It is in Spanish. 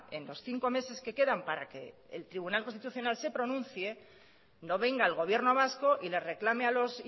en los cinco meses que queda para que el tribunal constitucional pronuncie no venga al gobierno vasco y le reclame a los